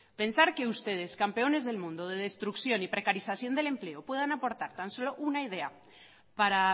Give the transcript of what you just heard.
pensar que ustedes campeones del mundo de destrucción y precarización del empleo puedan aportar tan solo una idea para